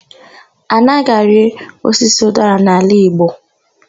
A naghị arị osisi ụdara n'ala igbo.